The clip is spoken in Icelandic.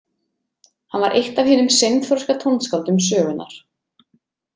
Hann var eitt af hinum seinþroska tónskáldum sögunnar.